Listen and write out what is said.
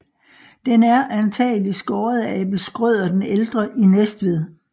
Den er antagelig skåret af Abel Schrøder den Ældre i Næstved